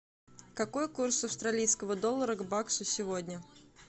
какой курс австралийского доллара к баксу сегодня